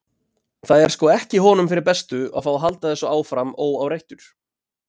Það er sko ekki honum fyrir bestu að fá að halda þessu áfram óáreittur.